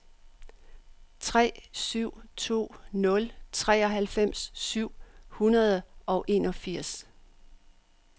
tre syv to nul treoghalvfems syv hundrede og enogfirs